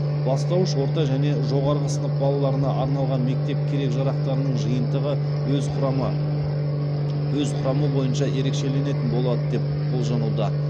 бастауыш орта және жоғарғы сынып балаларына арналған мектеп керек жарақтарының жиынтығы өз құрамы өз құрамы бойынша ерекшеленетін болады деп болжануда